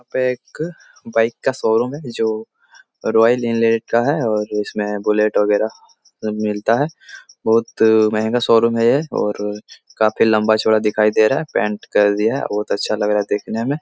यहाँ पे एक बाइक का शो रूम है जो रॉयल इनलैंड का है और उसमे बुलेट वगेरा मिलता है बहुत महगा शो रूम है ये और काफी लम्बा चोड़ा दिखाई दे रहा है पेन्ट कर दिया बहुत अच्छा लग रहा है देखने में --